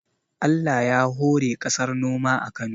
Allah ya hore kasar noma a Kano